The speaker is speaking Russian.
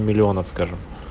миллионов скажим